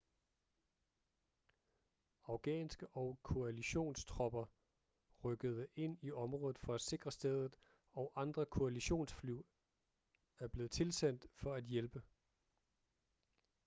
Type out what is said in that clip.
afghanske- og koalitionstropper rykkede ind i området for at sikre stedet og andre koalitionsfly er blevet tilsendt for at hjælpe